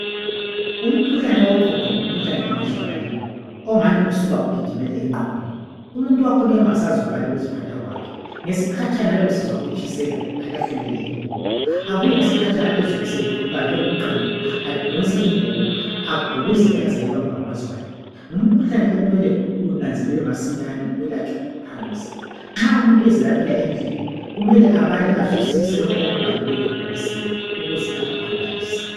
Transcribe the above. Umkhuhlane woqhuqho, ngumkhuhlane ongazwakaliyo. Ongani usuka ugijimele engqondweni. Umuntu wakhona uyabe engasazwakali ukuziphatha kwakhe. Ngesikhatshana uyabe esizwa ukutshiselwa, alahlele le ingubo. Abuye ngesikhatshana, ezwe esebanjwe ngumqando. Adonse ingubo, agubuzele, aze ayeyibamba ngamazwane. Nxa umuntu ezelaphela endlini, kumele abale azwisise lokho okubhaliweyo ebhokisini ukuze angaphambanisi.